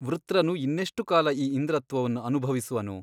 ವೃತ್ರನು ಇನ್ನೆಷ್ಟುಕಾಲ ಈ ಇಂದ್ರತ್ವವನ್ನು ಅನುಭವಿಸುವನು ?